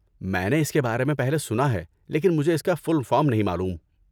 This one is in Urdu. میں نے اس کے بارے میں پہلے سنا ہے، لیکن مجھے اس کا فل فارم نہیں معلوم۔